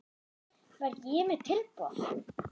Var ég með tilboð?